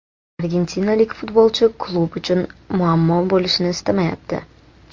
Argentinalik futbolchi klub uchun muammo bo‘lishni istamayapti.